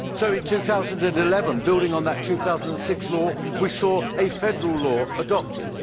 In 2011, building on that 2006 law, we saw a federal law adopted.